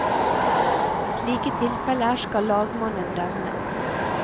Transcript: I slike tilfeller skal lagmannen dømme.